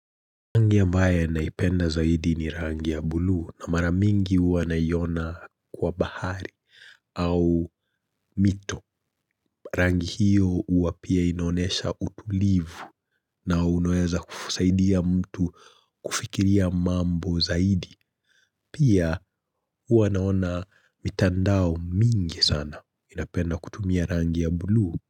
Rangi ambayo naipenda zaidi ni rangi ya bluu na mara mingi huwa naiona kwa bahari au mito. Rangi hiyo huwa pia inaonyesha utulivu na unaweza kusaidia mtu kufikiria mambo zaidi. Pia huwa naona mitandao mingi sana inapenda kutumia rangi ya bluu.